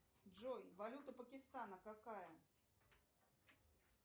джой валюта пакистана какая